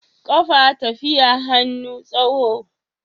Kafa tafi hannu tsaho